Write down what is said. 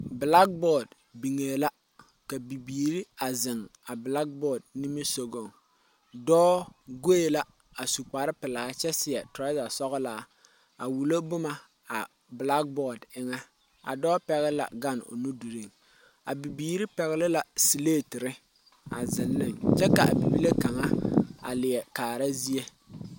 Bilaaboodi biŋɛɛ la ka bibiiri a zeŋ a bilaaboodi nimisɔgɔŋ dɔɔ gɔɛ la a su kpare pelaa kyɛ seɛ teraza sɔglaa a wulo boma a bilaaboodi eŋa a dɔɔ pɛgle la gane o nu dirinŋ a bibiiri pɛgle la selaatere a zeŋ ne kyɛ ka a bibilee kaŋa a leɛ kaara zie.